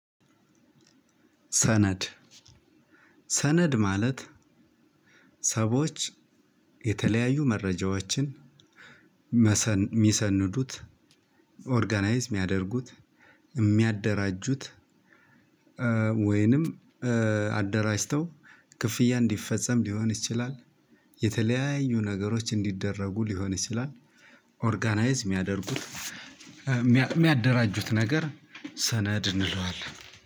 ሰነድ ሰነድ ማለት ሰቦች የተለያዩ መረጃዎችን መሰን የሚሰንዱት ኦርጋናይዝ የሚያደርጉት የሚያደራጁት ወይንም አደራጅተው ክፍያ እንዲፈጸም ሊሆን ይችላል። የተለያዩ ነገሮች እንዲደረጉ ሊሆን ይችላል። ኦርጋናይዝ የሚያደርጉት የሚያደራጁት ነገር ሰነድ እንለዋለን።